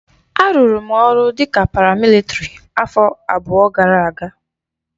A rụrụ m ọrụ dika paramịlitrị afọ abụọ gara aga.